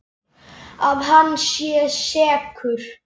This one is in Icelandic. Að hann sé sekur?